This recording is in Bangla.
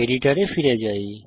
এডিটর এ ফিরে যাই